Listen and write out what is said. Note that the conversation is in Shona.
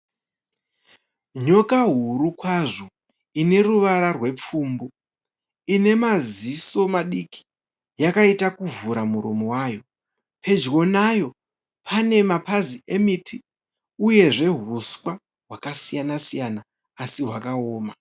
Nyoka huru kwazvo ine ruvara rwepfumbu. Ine maziso madiki yakaita kuvhura muromo wayo. Pedyo nayo pane mapazi emiti uyezve huswa hwakasiyana siyana asi hwakaoma.